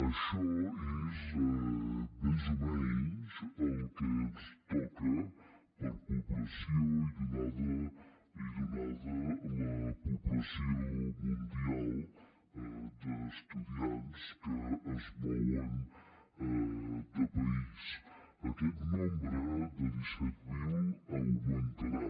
això és més o menys el que ens toca per població i atesa la població mundial d’estudiants que es mouen de país aquest nombre de disset mil augmentarà